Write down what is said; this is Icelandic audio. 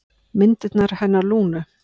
Myndirnar hennar Lúnu.